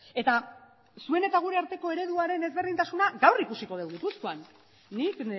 eta zuen eta gure arteko ereduaren ezberdintasuna gaur ikusiko dugu gipuzkoan nik